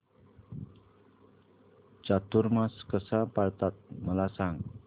चातुर्मास कसा पाळतात मला सांग